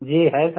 जी है सर